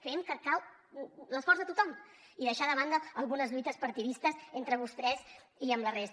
creiem que cal l’esforç de tothom i deixar de banda algunes lluites partidistes entre vostès i amb la resta